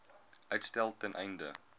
uitstel ten einde